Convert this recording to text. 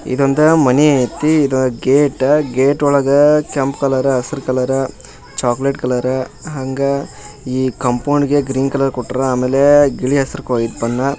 ಇದೊಂದು ಮನಿ ಐತಿ ಇದ್ ಗೇಟ್ ಗೇಟ್ ಒಳಗ ಕೆಂಪ್ ಕಲರ್ ಹಸ್ರ್ ಕಲರ್ ಚಾಕೊಲೇಟ್ ಕಲರ್ .ಹಂಗ ಈ ಕಾಂಪೌಂಡ್ ಗೆ ಗಿಳಿ ಹಸರ್ ಕಲರ್ ಬಣ್ಣ .